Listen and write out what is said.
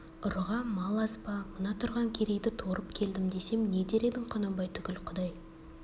ұрыға мал аз ба мына тұрған керейді торып келдім десем не дер едің құнанбай түгіл құдай